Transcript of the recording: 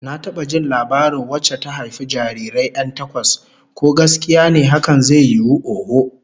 Na taba jin labarin wacce ta haifi jarirai 'yan takwas, ko gaskiya ne hakan zai yiwu, oho.